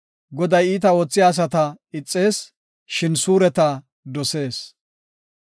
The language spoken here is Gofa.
Goday iita oothiya asata ixees; shin suureta dosees.